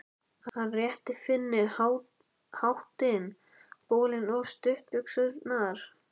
Hann rétti Finni hattinn, bolinn og stuttbuxurnar.